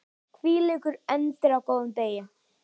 Hvílíkur endir á góðum degi!